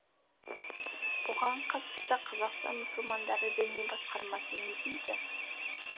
бұған қатысты қазақстан мұсылмандар дәни басқармасы не дейді